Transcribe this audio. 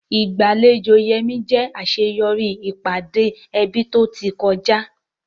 Ìgbàlejò Yemi jẹ́ àṣeyọrí ìpàdé ẹbí tó ti kọjá.